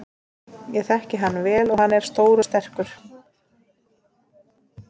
Ég þekki hann vel og hann er stór og sterkur.